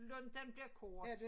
Lunten bliver kort